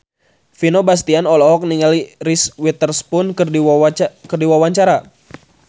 Vino Bastian olohok ningali Reese Witherspoon keur diwawancara